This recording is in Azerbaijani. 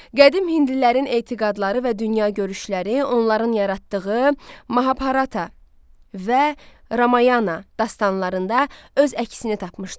Qədim hindlilərin etiqadları və dünyagörüşləri onların yaratdığı Mahabharata və Ramayana dastanlarında öz əksini tapmışdı.